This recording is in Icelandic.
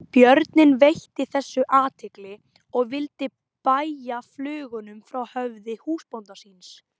Björninn veitti þessu athygli og vildi bægja flugunum frá höfði húsbónda síns.